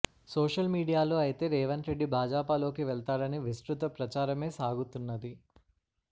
social మీడియాలో అయితే రేవంత్రెడ్డి భాజాపాలోకి వెళ్తాడని విస్తృత ప్రచారమే సాగుతున్నది